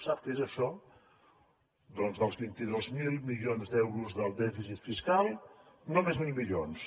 sap què és això doncs dels vint dos mil milions d’euros del dèficit fiscal només mil milions